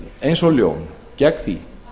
eins og ljón gegn því